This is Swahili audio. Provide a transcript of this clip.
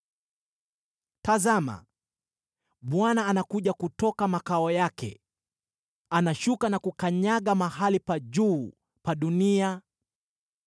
Tazama! Bwana anakuja kutoka mahali pake; anashuka na kukanyaga mahali palipoinuka juu pa dunia.